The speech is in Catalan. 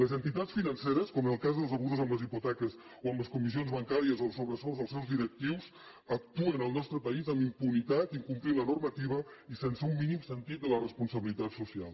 les entitats financeres com en el cas dels abusos amb les hipoteques o amb les comissions bancàries o els sobresous dels seus directius actuen al nostre país amb impunitat incomplint la normativa i sense un mínim sentit de la responsabilitat social